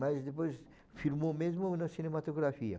Mas depois filmou mesmo na cinematografia.